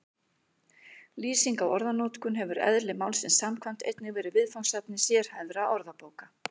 Lýsing á orðanotkun hefur eðli málsins samkvæmt einnig verið viðfangsefni sérhæfðra orðabóka.